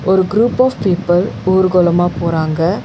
ஒரு group of people ஊர்கோலமா போறாங்க.